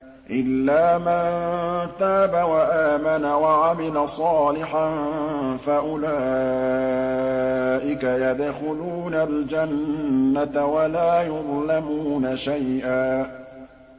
إِلَّا مَن تَابَ وَآمَنَ وَعَمِلَ صَالِحًا فَأُولَٰئِكَ يَدْخُلُونَ الْجَنَّةَ وَلَا يُظْلَمُونَ شَيْئًا